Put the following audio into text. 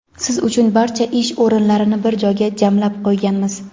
Siz uchun barcha ish o‘rinlarini bir joyga jamlab qo‘yganmiz.